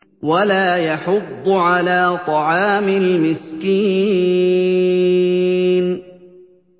وَلَا يَحُضُّ عَلَىٰ طَعَامِ الْمِسْكِينِ